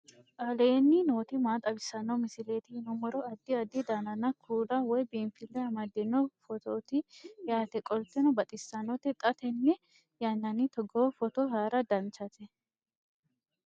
aleenni nooti maa xawisanno misileeti yinummoro addi addi dananna kuula woy biinfille amaddino footooti yaate qoltenno baxissannote xa tenne yannanni togoo footo haara danchate